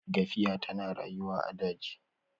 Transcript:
gafiya tana rayuwa a daji